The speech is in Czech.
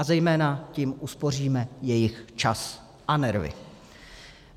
A zejména tím uspoříme jejich čas a nervy.